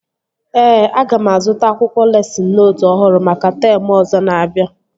Ee, aga m azụta akwụkwọ lesịn nootu ọhụrụ maka teemụ ọzọ na-abịa